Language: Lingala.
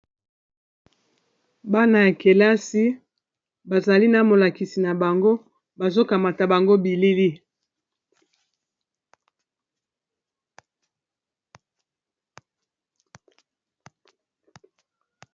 Bana ya kelasi bazali na molakisi na bango bazokamata bango bilili.